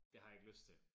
Det har jeg ikke lyst til